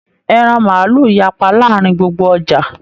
Ẹran maálù yapa láàrín gbogbo ọja.